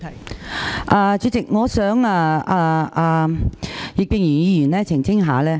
代理主席，我想葉建源議員澄清。